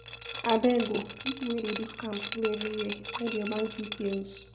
Abeg um, pipo wey dey do scam full everywhere, hide your bank details.